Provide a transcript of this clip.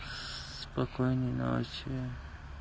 спокойной ночи